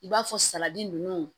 I b'a fɔ saladi ninnu